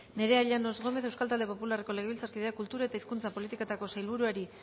nerea llanos gómez euskal talde popularreko legebiltzarkideak kultura eta hizkuntza politikako sailburuari